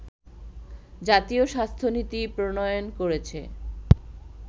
জাতীয় স্বাস্থ্য নীতি প্রণয়ন করেছে